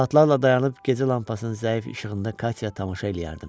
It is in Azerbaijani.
Saatlarla dayanıb gecə lampasının zəif işığında Katya tamaşa eləyərdim.